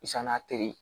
a teri